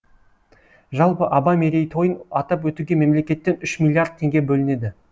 жалпы абай мерейтойын атап өтуге мемлекеттен үш миллиард теңге бөлінеді